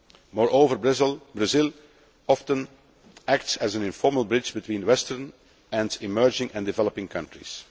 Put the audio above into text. Moreover, Brazil often acts as an informal bridge between Western and emerging and developing countries.